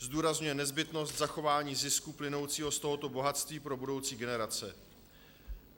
Zdůrazňuje nezbytnost zachování zisku plynoucího z tohoto bohatství pro budoucí generace.